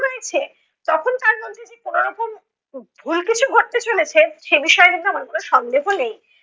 তখন তার মধ্যে যে কোনো রকম ভুল কিছু ঘটতে চলেছে। সে বিষয়ে কিন্তু আমার কোনো সন্দেহ নেই।